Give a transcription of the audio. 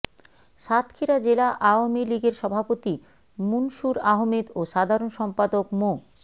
সাতক্ষীরা জেলা আওয়ামী লীগের সভাপতি মুনসুর আহমেদ ও সাধারণ সম্পাদক মো